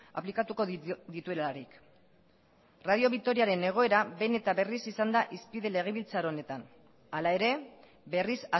aplikatuko dituelarik radio vitoriaren egoera behin eta berriz izan da hizpide legebiltzar honetan hala ere berriz